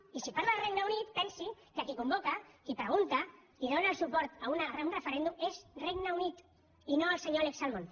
i si parla del regne unit pensi que qui convoca qui pregunta qui dóna el suport a un referèndum és el regne unit i no el senyor alex salmond